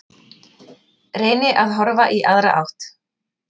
Reyni að horfa í aðra átt.